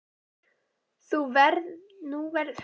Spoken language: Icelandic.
Nú verður þetta komið út um allan bæ á morgun.